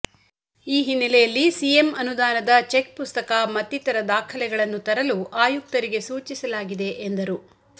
ಈ ಹಿನ್ನಲೆಯಲ್ಲಿ ಸಿಎಂ ಅನುದಾನದ ಚೆಕ್ ಪುಸ್ತಕ ಮತ್ತಿತರ ದಾಖಲೆಗಳನ್ನು ತರಲು ಆಯುಕ್ತರಿಗೆ ಸೂಚಿಸಲಾಗಿದೆ ಎಂದರು